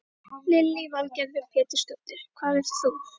Lillý Valgerður Pétursdóttir: Hvað vilt þú?